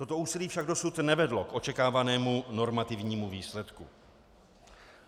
Toto úsilí však dosud nevedlo k očekávanému normativnímu výsledku.